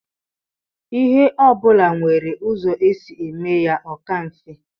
Ihe ọbụla nwere ụzọ e si eme ya o ka mfe.